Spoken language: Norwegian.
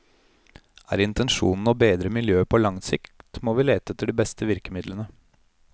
Er intensjonen å bedre miljøet på lang sikt, må vi lete etter de beste virkemidlene.